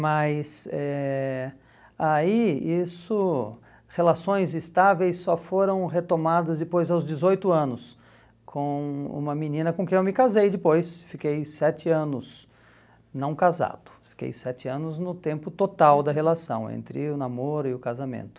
Mas, eh aí, isso, relações estáveis só foram retomadas depois aos dezoito anos, com uma menina com quem eu me casei depois, fiquei sete anos não casado, fiquei sete anos no tempo total da relação, entre o namoro e o casamento.